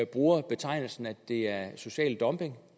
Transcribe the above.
bruger betegnelsen at det er social dumping og